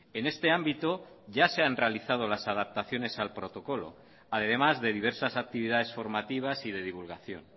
en este ámbito ya se han realizado las adaptaciones al protocolo además de diversas actividades formativas y de divulgación